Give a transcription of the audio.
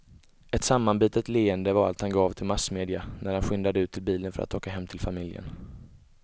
Ett sammanbitet leende var allt han gav till massmedia när han skyndade ut till bilen för att åka hem till familjen.